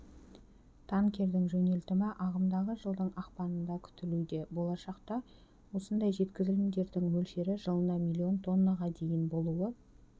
танкердің жөнелтімі ағымдағы жылдың ақпанында күтілуде болашақта осындай жеткізілімдердің мөлшері жылына миллион тоннаға дейін болуы